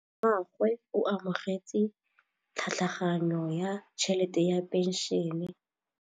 Rragwe o amogetse tlhatlhaganyô ya tšhelête ya phenšene.